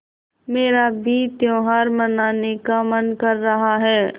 मेरा भी त्यौहार मनाने का मन कर रहा है